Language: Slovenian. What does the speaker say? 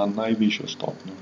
na najvišjo stopnjo.